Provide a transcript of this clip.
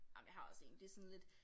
Ej men jeg har også én det sådan lidt